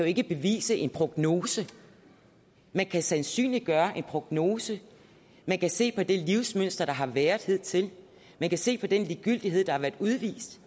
ikke bevise en prognose man kan sandsynliggøre en prognose man kan se på det livsmønster der har været hidtil man kan se på den ligegyldighed der har været udvist